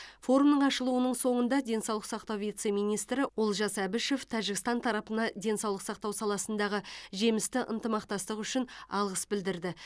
форумның ашылуының соңында денсаулық сақтау вице министрі олжас әбішев тәжікстан тарапына денсаулық сақтау саласындағы жемісті ынтымақтастық үшін алғыс білдірді